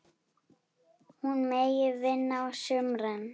Hún megi vinna á sumrin.